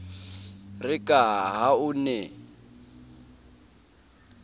re ka ha o ne